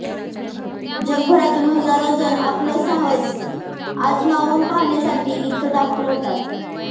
जगभरातून हजारो जण आपलं साहस आजमावून पाहण्यासाठी इथं दाखल होतात